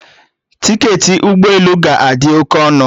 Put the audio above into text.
Tiketi ụgbọ elu ga-adị oke ọnụ